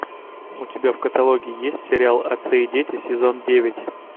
у тебя в каталоге есть сериал отцы и дети сезон девять